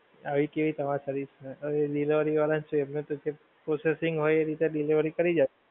આવી કેવી તમારી service છે. હવે delivery વાળાં શું એમને તો જે processing હોય એ રીતે delivery કરી જાય.